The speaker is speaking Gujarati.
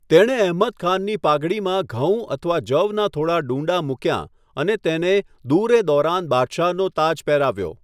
તેણે અહમદ ખાનની પાઘડીમાં ઘઉં અથવા જવની થોડા ડૂંડાં મૂક્યા અને તેને દુર એ દૌરાન બાદશાહનો તાજ પહેરાવ્યો.